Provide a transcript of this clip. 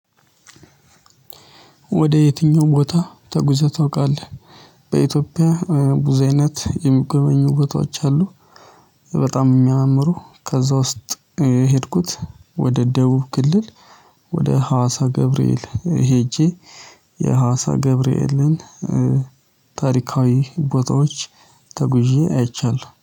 ወደ የትኛውም ቦታ ተጉዘህ ታውቃለህ? በኢትዮጵያ ቡዝ አይነት የሚገበኙ ቦታዎች አሉ። በጣም የሚያመሩ ከዛ ውስጥ። ሄድኩት ወደ ደቡብ ግልል። ወደ ሀዋሳ ገብርኤል ሄጄ። የሀዋሳ ገብርኤልን ታሪካዊ ቦታዎች ተጉዤ አይቻለሁ